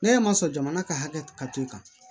Ne ma sɔn jamana ka hakɛ ka to yen